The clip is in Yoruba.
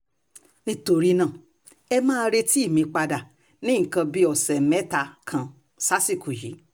nítorí náà ẹ máa retí mi padà ní nǹkan bíi ọ̀sẹ̀ mẹ́ta kan sásìkò yìí